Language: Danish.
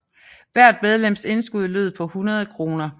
Hvert medlems indskud lød på 100 kroner